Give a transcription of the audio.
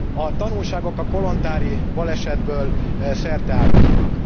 A tanulságok a kolontári balesetből szerteágazóak.